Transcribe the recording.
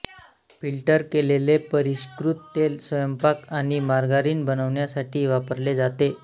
filter केलेले परिष्कृत तेल स्वयंपाक आणि मार्गारीन बनवण्यासाठी वापरले जाते